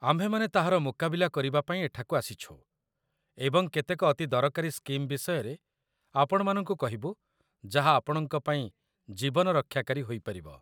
ଆମ୍ଭେମାନେ ତାହାର ମୁକାବିଲା କରିବାପାଇଁ ଏଠାକୁ ଆସିଛୁ, ଏବଂ କେତେକ ଅତି ଦରକାରୀ ସ୍କିମ୍ ବିଷୟରେ ଆପଣମାନଙ୍କୁ କହିବୁ ଯାହା ଆପଣଙ୍କ ପାଇଁ ଜୀବନ ରକ୍ଷାକାରୀ ହୋଇପାରିବ